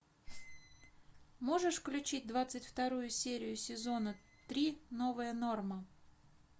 можешь включить двадцать вторую серию сезона три новая норма